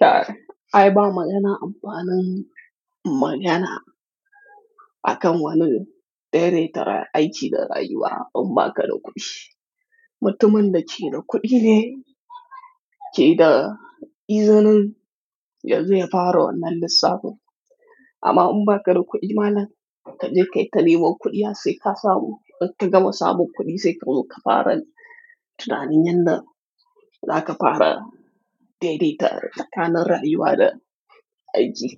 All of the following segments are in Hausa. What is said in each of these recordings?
Kai, ai ba magana amfa lan magana akan wani daidaitare aiki da rayuwa. Umba ka da kuɗi, mutumin da ke da kuɗi ne ke da izinin yanzu ya fara wannan lissafin. Amma umba ka da kuɗi ma'ana ka je ka yi ta neman kuɗiya sai ka samu. In ka gama samu kuɗi sai ka zo ka fara tunanin yadda za ka fara daidaita tsakanin rayuwa da aiki.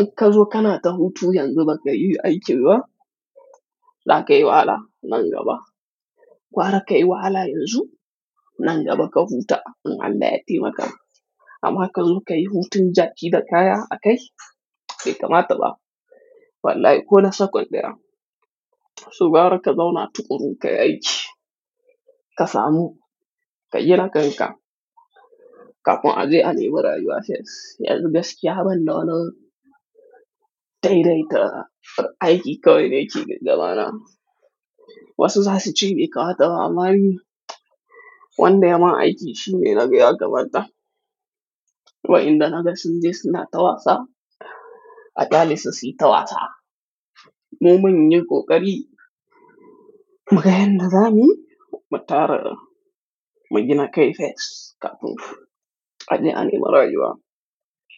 In ka zo ka na ta hutu yanzu ba ka yi aiki ba, za ka yi wala nan gaba. Gwara ka yi wahala yanzu, nan gaba ka huta in an da yatti maka. Amma ka zo ka yi hutun jaƙi da kaya a kai, bai kamata ba. Wallahi ko da sakon ɗaya, su gwara ka zauna tukuru ka yi aiki, ka samu, ka jira kai ka. Ka kuma ajiye a nemi rayuwa sai yanzu gaskiya banɗona daidaita aiki kawai ne cike da mana. Wasu za su ce baikamata ba Ammwni, wanda yama aiki shi ne na biya gabata. Wa'inda na ga sun je suna ta wasa, a ƙali su siyi tawasa. Mu manyan ƙoƙari, magayan da za mu yi, mu tara, mu jina kaifet, ka kuma ajiye a nemi rayuwa.